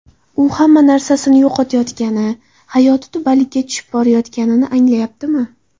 U hamma narsasini yo‘qotayotgani, hayoti tubanlikka tushib borayotganini anglayaptimi?